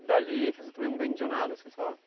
E dali vocês também não vendiam nada, assim só?